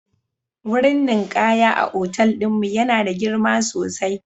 Wurin ninkaya a otal ɗin mu yana da girma sosai